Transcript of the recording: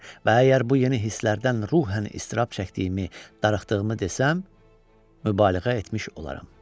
Və əgər bu yeni hisslərdən ruhən iztirab çəkdiyimi, darıxdığımı desəm, mübaliğə etmiş olaram.